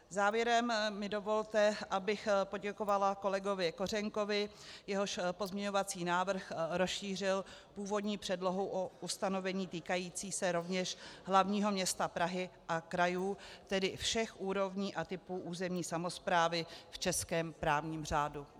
Závěrem mi dovolte, abych poděkovala kolegovi Kořenkovi, jehož pozměňovací návrh rozšířil původní předlohu o ustanovení týkající se rovněž hlavního města Prahy a krajů, tedy všech úrovní a typů územní samosprávy v českém právní řádu.